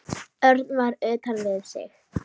Örn var utan við sig.